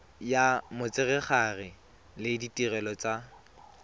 ya motshegare le ditirelo tsa